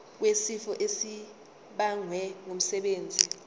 wesifo esibagwe ngumsebenzi